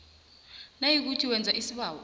nayikuthi wenza isibawo